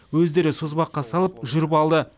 өздері созбаққа салып жүріп алды